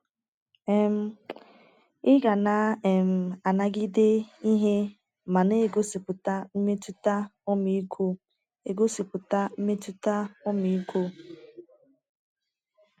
um Ị ga na um - anagide ihe ma na - egosipụta mmetụta ọmiịko egosipụta mmetụta ọmiịko. ”